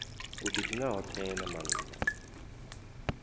u didina hothe na maanda